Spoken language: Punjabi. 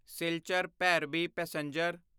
ਸਿਲਚਰ ਭੈਰਬੀ ਪੈਸੇਂਜਰ